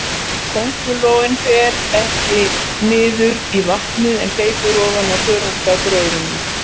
Köngulóin fer ekki niður í vatnið, en hleypur ofan á þörungagróðrinum.